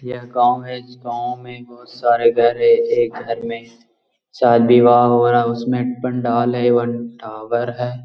यह गांव है इ गांव में बहुत सारे घर है एक घर में शादी-विवाह हो रहा है उसमे पंडाल एवं टावर है।